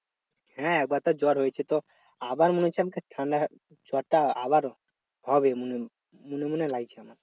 হ্যাঁ একবার তো জ্বর হয়েছে তো আবার মনে হচ্ছে আমাকে ঠান্ডা জরটা আবার হবে মনে মনে মনে লাগছে আমার